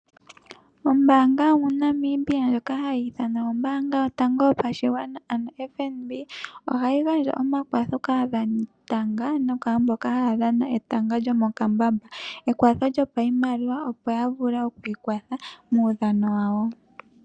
Ombaanga yomo Namibia ndjoka hayi ithanwa ombaanga yotango yopashigwana ano FNB ohayi gandja omakwatho kaadhanitanga nokwaamboka haya dhana etanga lyomokambamba ekwatho lyopashimaliwa, opo ya vule okwiikwatha muudhano wawo.